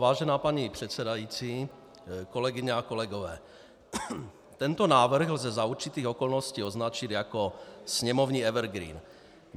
Vážená paní předsedající, kolegyně a kolegové, tento návrh lze za určitých okolností označit jako sněmovní evergreen.